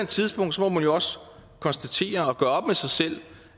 tidspunkt må man jo konstatere og gøre op med sig selv